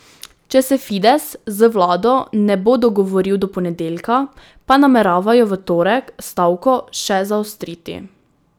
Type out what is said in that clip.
Če se Fides z vlado ne bo dogovoril do ponedeljka, pa nameravajo v torek stavko še zaostriti.